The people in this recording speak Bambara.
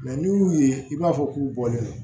n'i y'u ye i b'a fɔ k'u bɔlen no